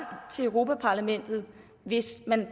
til europa parlamentet hvis man